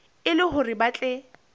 e le hore ba tle